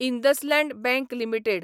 IndusInd bank limited